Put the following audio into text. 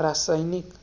रासायनिक.